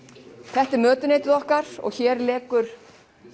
þetta er mötuneytið okkar og hér lekur